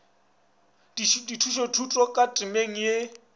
dithušothuto ka temeng ye e